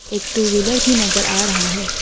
एक two wheeler भी नजर आ रहा है।